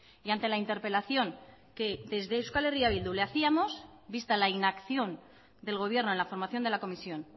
y ante la interpelación que desde euskal herria bildu le hacíamos vista la inacción del gobierno en la formación de la comisión